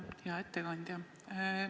Hea ettekandja!